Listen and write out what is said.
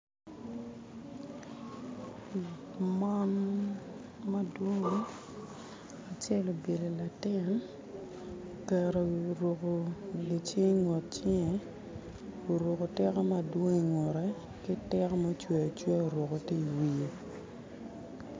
Mon madwong tye gubyelo latin oruko gi cing ingut cinge oruko tiko madwong ingutte ki tiko mucweyo acwea oruku tye iwiye